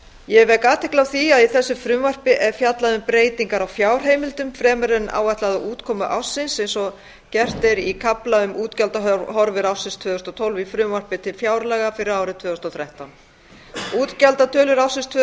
ég vek athygli á því að í þessu frumvarpi er fjallað um breytingar á fjárheimildum fremur en áætlaða útkomu ársins eins og gert er í kafla um útgjaldahorfur ársins tvö þúsund og tólf í frumvarpi til fjárlaga fyrir árið tvö þúsund og þrettán útgjaldatölur ársins tvö